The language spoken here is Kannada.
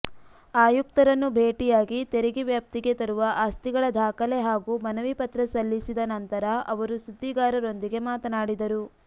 ಆಯುಕ್ತರನ್ನು ಭೇಟಿಯಾಗಿ ತೆರಿಗೆ ವ್ಯಾಪ್ತಿಗೆ ತರುವ ಆಸ್ತಿಗಳ ದಾಖಲೆ ಹಾಗೂ ಮನವಿ ಪತ್ರ ಸಲ್ಲಿಸಿದ ನಂತರ ಅವರು ಸುದ್ದಿಗಾರರೊಂದಿಗೆ ಮಾತನಾಡಿದರು